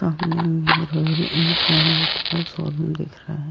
सामने मे Royal Infinite का शोरूम दिख रहा है।